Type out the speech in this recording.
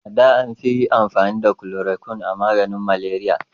A da an fi amfani da kulorokwin a yi maganin maleriya